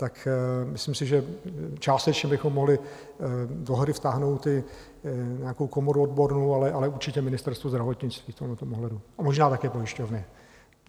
Tak myslím si, že částečně bychom mohli do hry vtáhnout i nějakou komoru odbornou, ale určitě Ministerstvo zdravotnictví v tomto ohledu a možná také pojišťovny.